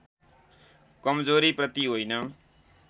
कमजोरीप्रति होइन